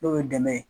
N'o ye dɛmɛ ye